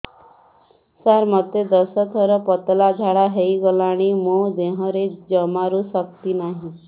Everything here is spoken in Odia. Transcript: ସାର ମୋତେ ଦଶ ଥର ପତଳା ଝାଡା ହେଇଗଲାଣି ମୋ ଦେହରେ ଜମାରୁ ଶକ୍ତି ନାହିଁ